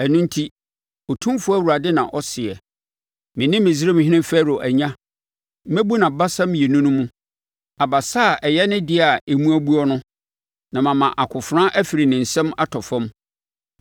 Ɛno enti, Otumfoɔ Awurade na ɔseɛ: Mene Misraimhene Farao anya, mɛbu nʼabasa mmienu no mu; abasa a ɛyɛ ne deɛ a emu abuo no, na mama akofena afiri ne nsam atɔ fam.